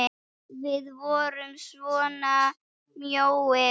Við vorum svona mjóir!